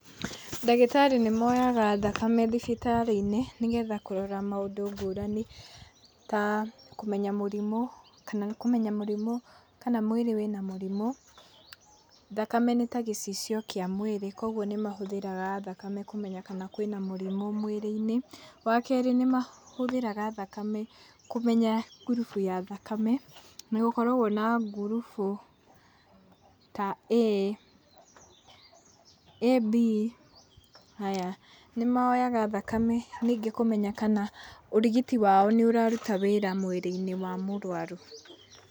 Ndagĩtarĩ nĩmoyaga thakame thibitarĩ-inĩ, nĩgetha kũrora maũndũ ngũrani, ta kũmenya mũrimũ, kana kũmenya mũrimũ kana mwĩrĩ wĩna mũrimũ. Thakame nĩta gĩcicio kĩa mwĩrĩ, koguo nĩmahũthĩraga thakame kũmenya kana kwĩna mũrimũ mwĩrĩ-inĩ. Wa kerĩ, nĩmahũthĩraga thakame kũmenya ngurubu ya thakame, nĩgũkoragwo na ngurubu ta A, AB haya, nĩmoyaga thakame, ningĩ kũmenya kana ũrigiti wao nĩũraruta wĩra mwĩrĩ-inĩ wa mũrwaru.